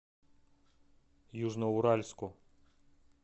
южноуральску